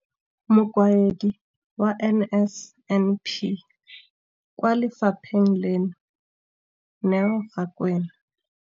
Mokaedi wa NSNP kwa lefapheng leno, Neo Rakwena.